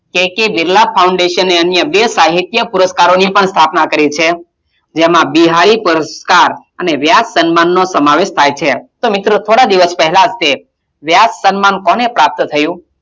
k. k. Birla foundation એ અન્ય બે સાહિત્ય પુરસ્કારોની પણ સ્થાપનાં કરી છે જેમાં બિહારી પુરસ્કાર અને વ્યાસ સન્માનનો સમાવેશ થાય છે. તો મિત્રો, થોડા દિવસ પહેલાં જ એ વ્યાસ સન્માન કોને પ્રાપ્ત થયું?